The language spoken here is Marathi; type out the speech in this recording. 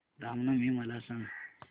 राम नवमी मला सांग